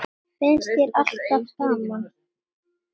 Finnst þér alltaf gaman?